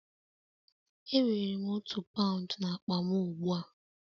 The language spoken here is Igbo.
Enwere m otu paụnd n'akpa m ugbu a